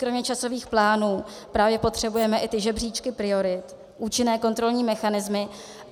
Kromě časových plánů právě potřebujeme i ty žebříčky priorit, účinné kontrolní mechanismy.